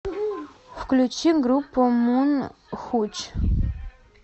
включи группу мун хуч